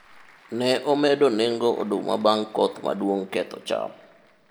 ne omedo nengo oduma bang' koth maduong' ketho cham